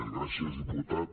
gràcies diputat